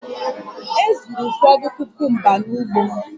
E zuru ụfọdụ kukumba n'ugbo m